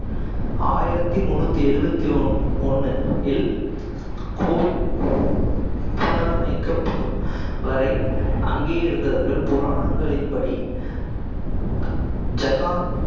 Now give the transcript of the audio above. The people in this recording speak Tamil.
ஆயிரத்தி முண்ணூத்தி எழுவத்தி ஒ~ ஒண்ணு இல் கோவில் புணரமைக்கப்படும் வரை அங்கே இருந்தார்கள் புராணங்களின் படி ஜகான்